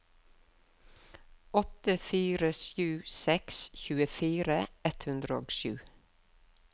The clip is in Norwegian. åtte fire sju seks tjuefire ett hundre og sju